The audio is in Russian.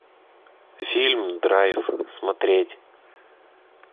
фильм драйв смотреть